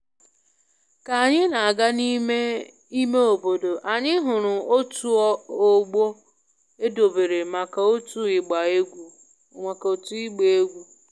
Ka anyị na-aga n'ime ime obodo, anyị hụrụ otu ogbo edobere maka otu ịgba egwu